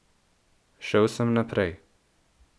Šel sem naprej.